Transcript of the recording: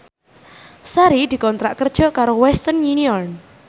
Sari dikontrak kerja karo Western Union